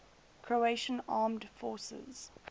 croatian armed forces